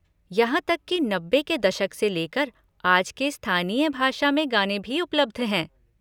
यहाँ तक कि नब्बे के दशक से लेकर आज के स्थानीय भाषा में गाने भी उपलब्ध हैं।